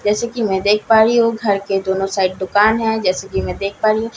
जैसे की मैं देख पा रही हूँ घर के दोनों साइड दुकान है जैसे की मैं देख पा रही हूँ एक साइड --